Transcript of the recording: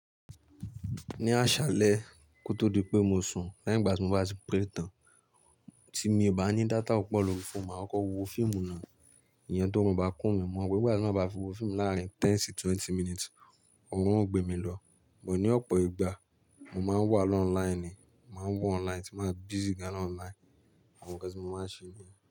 Ní àṣálẹ́ kó tó di pé mo sun, leyin ìgbà tí mo bá ti pray tán, tí mo bá ní data púpọ̀ lórí fóònù, màá kọ wo fíìmù náà. Ìyẹn tó bá kún mi, mo mọ̀ pé ìgbà tí wọ́n bá fi wo fíìmù láàárín ten sí twenty minutes, ó rún gbé mi lọ. Bù ó ní ọ̀pọ̀ ìgbà, mo máa ń wà lọ́ online ni, màá wà online tí màá busy gan-an online. Àwọn nnkan tí mo máa ń ṣe ni.